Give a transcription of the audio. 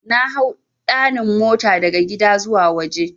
Nahau 'ɗanin' mota daga gida zuwa waje.